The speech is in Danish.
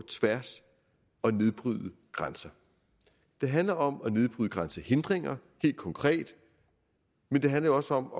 tværs og nedbryde grænser det handler om nedbryde grænsehindringer helt konkret men det handler jo også om